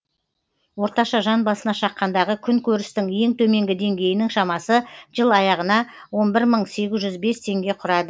орташа жан басына шаққандағы күн көрістің ең төменгі деңгейінің шамасы жыл аяғына он бір мың сегіз жүз бес теңге құрады